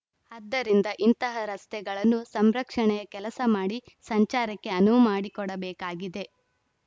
ಆದ್ದರಿಂದ ಇಂತಹ ರಸ್ತೆಗಳನ್ನು ಸಂರಕ್ಷಣೆಯ ಕೆಲಸ ಮಾಡಿ ಸಂಚಾರಕ್ಕೆ ಅನುವು ಮಾಡಿಕೊಡಬೇಕಾಗಿದೆ